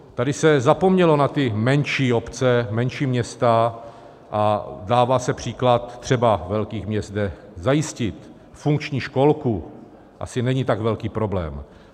Tady se zapomnělo na ty menší obce, menší města, a dává se příklad třeba velkých měst, kde zajistit funkční školku asi není tak velký problém.